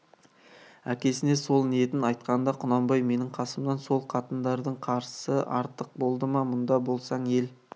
әкесіне сол ниетін айтқанда құнанбай менің қасымнан сол қатындардың қасы артық болды ма мұнда болсаң ел